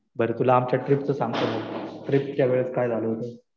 बरं तुला आमच्या ट्रिपचा सांगतो. ट्रीपच्या वेळी काय झालं होतं.